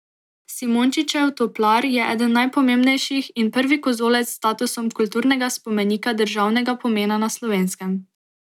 Simončičev toplar je eden najpomembnejših in prvi kozolec s statusom kulturnega spomenika državnega pomena na Slovenskem.